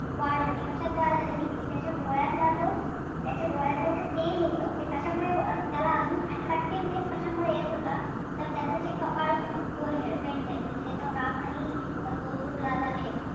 वाढ होणे. कशात वाढ झाली होती की त्याच्या डोळ्यातला जो त्याच्या डोळ्यातल तेज होतं ते कशामुळे त्याला अजून attractiveness कशामुळं येत होता तर त्याच जे कपाळ होतं forehead painted म्हणजे त्याच्यावर राख आणि तो जो गुलाल आहे,